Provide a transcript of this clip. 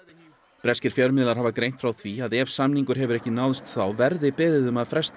breskir fjölmiðlar hafa greint frá því að ef samningur hefur ekki náðst þá verði beðið um að fresta